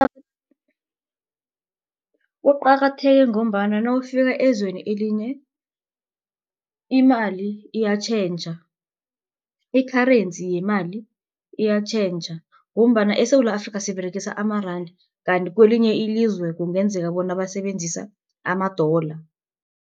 Kuqakatheke ngombana nawufika ezweni elinye imali iyatjhentjha i-currency yemali iyatjhentjha. Ngombana eSewula Afrika siberegisa amaranda. Kanti kwelinye ilizwe kungenzeka bona basebenzisa ama-dollar.